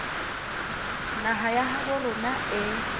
naha ya habo rona e